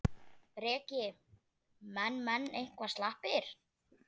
Breki: Menn, menn eitthvað slappir?